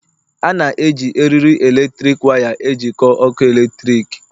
A na-eji eriri eletrik waya ejikọọ ọkụ eletrik